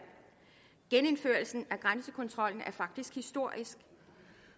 genindførelsen af grænsekontrollen er faktisk historisk